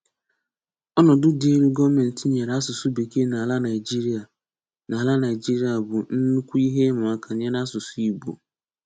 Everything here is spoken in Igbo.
Ọ̀nọ̀dụ̀ dị elu gọ́ọ̀menti nyèrè asụ̀sụ́ Békee n’álà Naịjíríà n’álà Naịjíríà bụ́ ńnukwu ihe ìmàákà nyèrè asụ̀sụ́ Ìgbò.